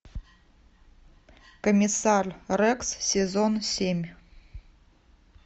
комиссар рекс сезон семь